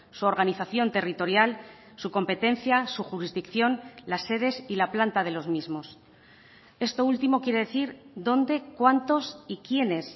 su organización territorial su competencia su jurisdicción las sedes y la planta de los mismos esto último quiere decir dónde cuántos y quiénes